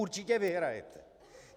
Určitě vyhrajete.